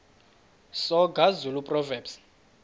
soga zulu proverbs